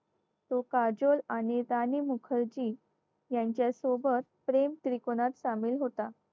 तो काजोल आणि राणी मुखर्जी यांच्यासोबत प्रेम त्रिकोणात सामील होता